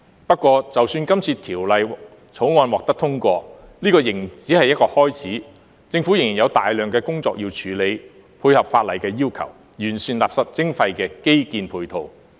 不過，就算這次《條例草案》獲得通過，仍只是一個開始，政府仍然有大量工作要處理，配合法例的要求，完善垃圾徵費的基建配套。